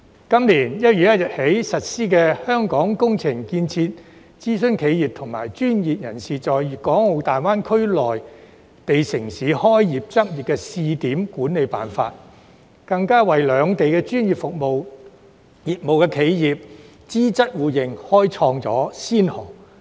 今年1月1日起實施《香港工程建設諮詢企業和專業人士在粤港澳大灣區內地城市開業執業試點管理暫行辦法》，更為兩地專業服務業企業資質互認開創先河。